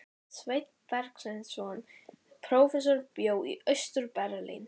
Sveinn Bergsveinsson prófessor bjó í Austur-Berlín.